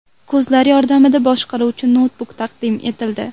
Ko‘zlar yordamida boshqariluvchi noutbuk taqdim etildi.